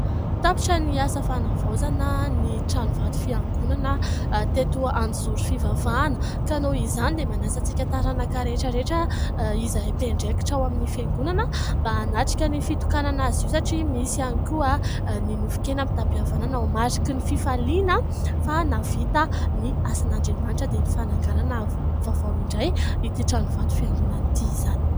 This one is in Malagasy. Tapitra ny asa fanavaozana ny tranovato fiangonana teto Anjozory fivavahana ; ka noho izany dia manasa antsika taranaka rehetra rehetra izay mpiandraikitra ao amin'ny fiangonana mba hanatrika ny fitokanana azy io satria misy ihany koa ny nofon-kena mitam-pihavanana ho mariky ny fifaliana fa navita ny asan'Andriamanitra dia ny fananganana vaovao indray ity tranovato fiangonana ity izany.